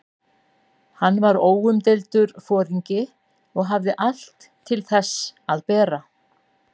Hann var óumdeildur foringi og hafði allt til þess að bera.